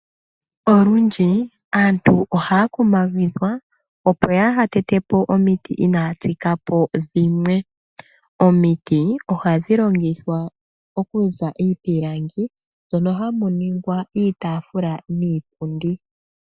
Olundji aantu ohaa kumagidhwa, opo yaa ha tete po omiti inaa ya tsika po dhimwe. Omiti oha dhi longithwa oku za iipilangi, mono hamu ningwa iitaafula niipundi .